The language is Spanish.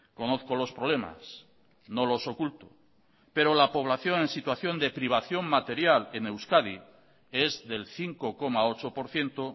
conozco los problemas no los oculto pero la población en situación de privación material en euskadi es del cinco coma ocho por ciento